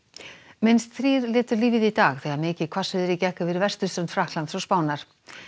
minnst þrír létu lífið í dag þegar mikið hvassviðri gekk yfir vesturströnd Frakklands og Spánar